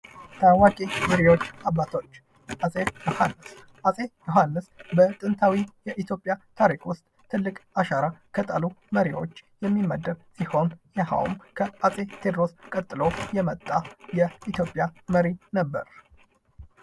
ታዋቂ መሪዎች አባቶች አጼ ዮሃንስ አጼ ዮሃንስ በጥንታዊ የኢትዮጵያ ታሪክ ዉስጥ ትልቅ አሻራ ከጣሉ መሪዎች የሚመደብ ሲሆን ይሄውም ከአጼ ቴዎድሮስ ቀጥሎ የመጣ የኢትዮጵያ መሪ ነበር።